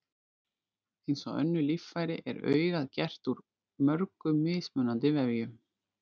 eins og önnur líffæri er augað gert úr mörgum mismunandi vefjum